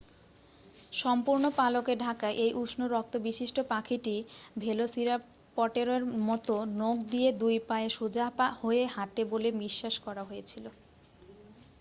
সম্পূর্ণ পালকে ঢাকা এই উষ্ণ রক্তবিশিষ্ট পাখিটি ভেলোসিরাপটরের মতো নখ দিয়ে দুই পায়ে সোজা হয়ে হাঁটে বলে বিশ্বাস করা হয়েছিল